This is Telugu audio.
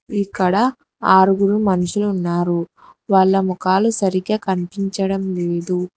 ఇక్కడా ఆరుగురు మనుషులు ఉన్నారు వాళ్ళ ముఖాలు సరిగ్గా కనిపించడం లేదు.